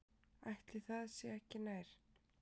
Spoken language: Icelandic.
Ætli það sé ekki nær.